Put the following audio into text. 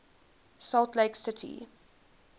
salt lake city